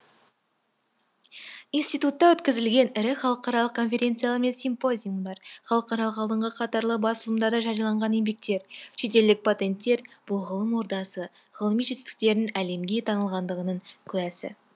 институтта өткізілген ірі халықаралық конференциялар мен симпозиумдар халықаралық алдыңғы қатарлы басылымдарда жарияланған еңбектер шетелдік патенттер бұл ғылым ордасы ғылыми жетістіктерінің әлемге танылғандығының куәсі